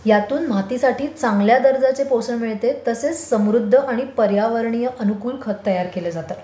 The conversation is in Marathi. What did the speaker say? यातून मातीसाठी चांगल्या दर्जाचे पोषण मिळते तर तसेच समृद्ध आणि पर्यावरणीय अनुकूल खत तयार केले जातात.